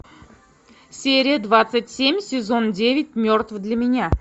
серия двадцать семь сезон девять мертв для меня